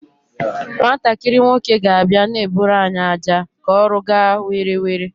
Nwatakịrị nwoke ga abia na-eburu anyị aja ka ọrụ gaa were were